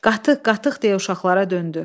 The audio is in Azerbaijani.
Qatıq, qatıq deyə uşaqlara döndü.